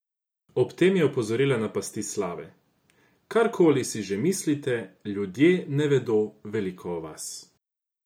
Ob tem je opozorila na pasti slave: "Karkoli si že mislite, ljudje ne vedo veliko o vas.